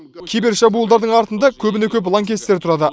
кибершабуылдардың артында көбіне көп лаңкестер тұрады